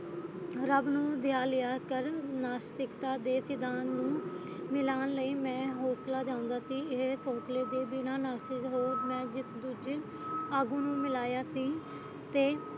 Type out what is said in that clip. ਰੱਬ ਨੂੰ ਧੀਆ ਲਿਆ ਕਰ ਨਾਸਤਿਕਤਾ ਦੇ ਸਿਧਾਂਤ ਨੂੰ ਮਿਲਾਣ ਲਈ ਮੈਂ ਹੌਸਲਾ ਦਿੰਦਾ ਸੀ ਇਹੀ ਸੋਚਲੇ ਦੇ ਬਿਨਾ ਨਾਸਤਿਕ ਰੋਗ ਹੈ ਜਿਸ ਦੂਜੇ ਆਗੂ ਨੂੰ ਮਿਲਾਇਆ ਸੀ ਤੇ